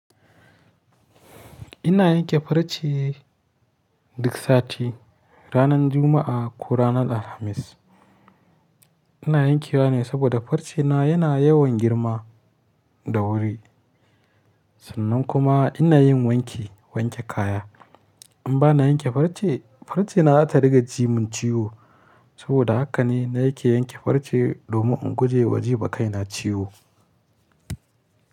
Ina yanke farce duk sati ranar Juma'a ko ranar Alhamis. Ina yankewa ne saboda farcena yana yawan girma da wuri. Sannan kuma ina yin wanke wanke kaya. In ba na yanke farce, farce na za ta riga ji mun ciwo. Saboda haka ne na yake yanke farce domin in guje wa jima kai na ciwo.